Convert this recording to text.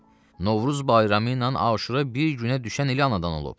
Novruz bayramı ilə Aşura bir günə düşən ili anadan olub.